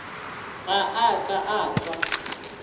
ga a ka a kwa